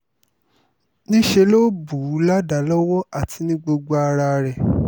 níṣẹ́ ló bù ú ládàá lọ́wọ́ àti ní gbogbo ara rẹ̀